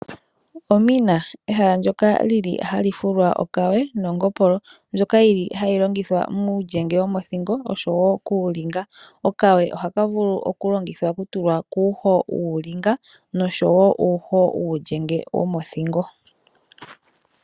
Omina ehala ndyoka hali fulwa okawe nongopolo, mbyoka hayi longithwa muulyenge womothingo osho wo kuulinga. Okawe ohaka vulu okulongithwa okutulwa kuuho wuulinga nosho woo uulyenge womothingo.